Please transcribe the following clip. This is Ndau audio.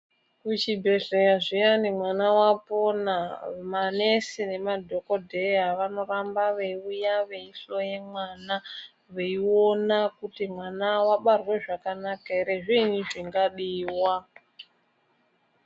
Kuchibhedhleya zveyani mwana aponwa, manesi namadhokodheya vanorambe veiuya veyihloya mwana, veyiona kuti mwana wabarwe zvakanaka here, zviini zvingadiwa.